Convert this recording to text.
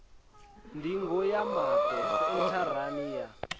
ndingo ya maṱo sentharani ya